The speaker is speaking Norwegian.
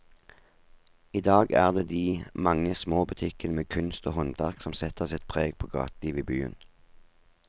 I dag er det de mange små butikkene med kunst og håndverk som setter sitt preg på gatelivet i byen.